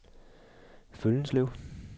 Føllenslev